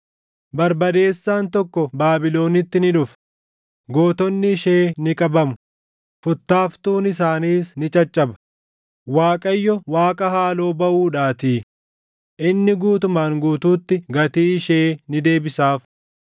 Barbadeessaan tokko Baabilonitti ni dhufa; gootonni ishee ni qabamu; futtaaftuun isaaniis ni caccaba; Waaqayyo, Waaqa haaloo baʼuudhaatii; inni guutumaan guutuutti gatii ishee ni deebisaaf.